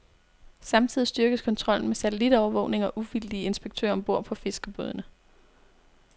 Samtidig styrkes kontrollen med satellitovervågning og uvildige inspektører om bord på fiskerbådene.